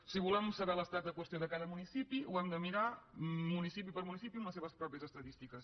si volem saber l’estat de la qüestió de cada municipi ho hem de mirar municipi per municipi amb les seves pròpies estadístiques